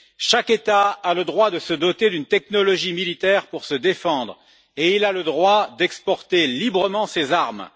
Chaque État a le droit de se doter d'une technologie militaire pour se défendre et il a le droit d'exporter librement ses armes.